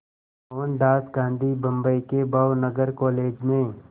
मोहनदास गांधी बम्बई के भावनगर कॉलेज में